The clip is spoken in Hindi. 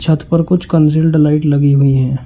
छत पर कुछ कंजील्ड लाइट लगी हुई हैं।